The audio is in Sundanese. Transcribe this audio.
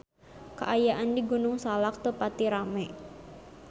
Kaayaan di Gunung Salak teu pati rame